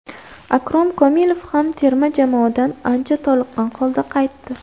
Akrom Komilov ham terma jamoadan ancha toliqqan holda qaytdi.